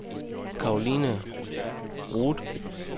Cathrine Roed